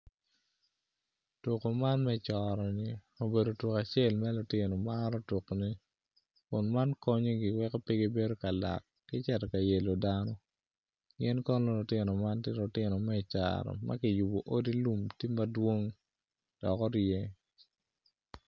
Tuko man me coro ni obedo tuko acel ma lutino maro tukone kun man konyogi weko pe gibedo kalak me cito ka yelo dano gin kono lutino man gitye lutino me icaro ma kiyubo odi lum tye madwong dok orye